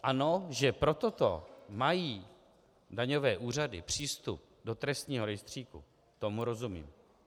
Ano, že pro toto mají daňové úřady přístup do trestního rejstříku, tomu rozumím.